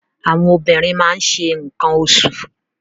Àwọn obìnrin máa ṣe nǹkan oṣù